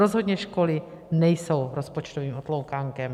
Rozhodně školy nejsou rozpočtovým otloukánkem.